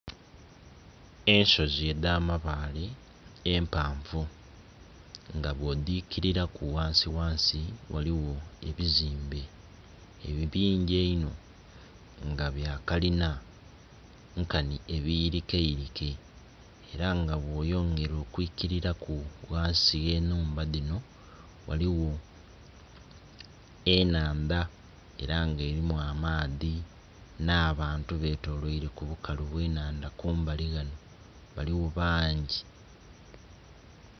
Ensozi edha mabaale empavu nga bwo dhikililaku ghansi ghansi ghaligho ebizimbe ebingi einho nga bya kalina nkanhi ebiyirikeyirike era nga bwo yongera okwikililaku ghansi ghe nhumba dhinho ghaligho enhandha era nga elimu amaadhi nh'abantu betoloile ku bukalu bw'enhandha kumbali ghano baligho bangi.